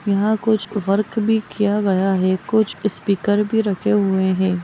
यह कुछ वर्क किया गया है कुछ स्पीकर भी रखे हुए हैं।